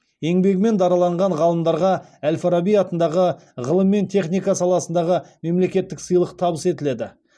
еңбегімен дараланған ғалымдарға әл фараби атындағы ғылым мен техника саласындағы мемлекеттік сыйлық табыс етіледі